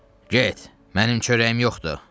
Get, mənim çörəyim yoxdur!